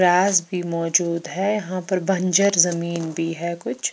राज़ भी मोजूद है यहा पर बंज़र जमीन भी है कुछ--